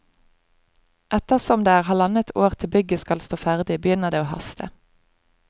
Etter som det er halvannet år til bygget skal stå ferdig, begynner det å haste.